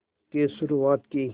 की शुरुआत की